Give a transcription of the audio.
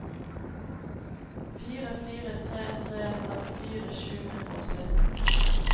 fire fire tre tre trettifire sju hundre og sytten